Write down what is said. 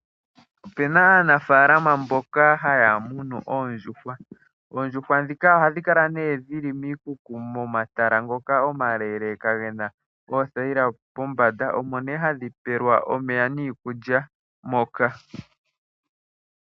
Opena aanafalama mboka haya munu oondjuhwa. Oondjuhwa dhika ohadhi kala nee dhili momatala ngoka omaleeleka gena oothayila pombanda. Omo nee hadhi pelwa omeya niikulya moka.